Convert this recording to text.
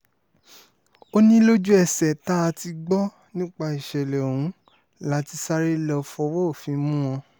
ó ní lójú-ẹsẹ̀ tá a ti gbọ́ nípa ìṣẹ̀lẹ̀ ọ̀hún la ti sáré lọ́ọ fọwọ́ òfin mú wọn